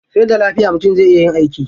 Sai da lafiya mutum zai iya yin aiki.